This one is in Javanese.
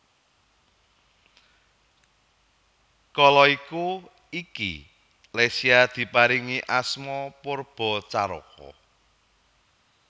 Kala iku iki Lesya diparingi asma Poerbatjaraka